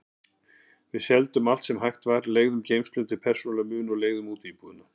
Við seldum allt sem hægt var, leigðum geymslu undir persónulega muni og leigðum út íbúðina.